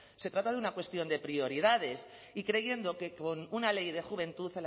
se trata de una cuestión de prioridades y creyendo que con una ley de juventud